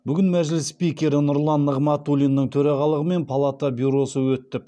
бүгін мәжіліс спикері нұрлан нығматулиннің төрағалығымен палата бюросы өтіп